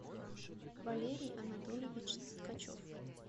валерий анатольевич ткачев